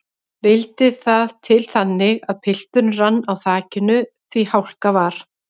Vildi það til þannig að pilturinn rann á þakinu því hálka var.